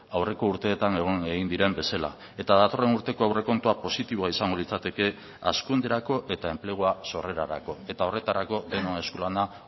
aurreko urteetan egon egin diren bezala eta datorren urteko aurrekontua positiboa izango litzateke hazkunderako eta enplegua sorrerarako eta horretarako denon eskulana